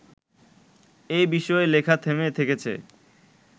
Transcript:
এ বিষয়ে লেখা থেমে থেকেছে